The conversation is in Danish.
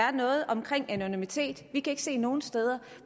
er noget omkring anonymitet vi kan ikke se nogen steder